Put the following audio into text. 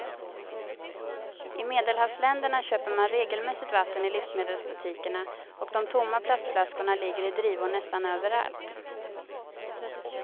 I medelhavsländerna köper man regelmässigt vatten i livsmedelsbutikerna och de tomma plastflaskorna ligger i drivor nästan överallt.